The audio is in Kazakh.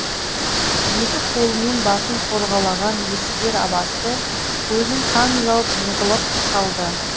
екі қолымен басын қорғалаған еспер басы көзін қан жауып жығылып қалды